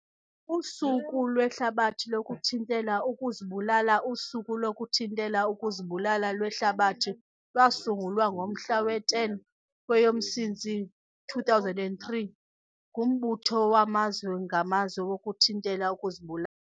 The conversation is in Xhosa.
Usuku lweHlabathi lokuThintela ukuzibulalaUSuku lokuThintela ukuziBulala lweHlabathi lwasungulwa ngomhla we-10 kweyoMsintsi 2003, nguMbutho waMazwe ngaMazwe wokuThintela ukuziBula.